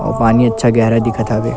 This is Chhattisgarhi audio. अऊ पानी अच्छा गहरा दिखत हवे।